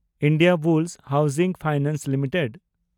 Indiabulls housing finance limited